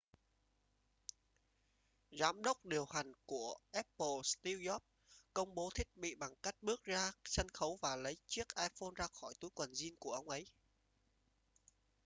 giám đốc điều hành của apple steve jobs công bố thiết bị bằng cách bước ra sân khấu và lấy chiếc iphone ra khỏi túi quần jean của ông ấy